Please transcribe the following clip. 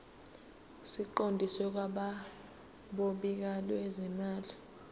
siqondiswe kwabophiko lwezimali